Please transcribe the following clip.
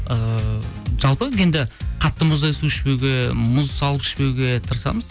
ыыы жалпы енді қатты мұздай су ішпеуге мұз салып ішпеуге тырысамыз